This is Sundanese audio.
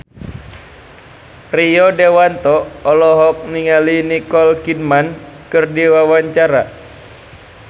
Rio Dewanto olohok ningali Nicole Kidman keur diwawancara